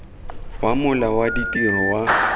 wa mola wa ditiro wa